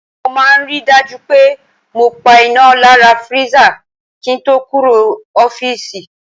Mo máa ń ri dájú pé mo pa iná lára freezer kí ń to kúrò l'ofiisi.